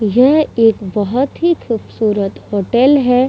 यह एक बहोत ही खूबसूरत होटल है।